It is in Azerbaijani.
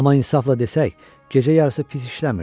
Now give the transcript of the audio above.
Amma insafla desək, gecə yarısı pis işləmirdi.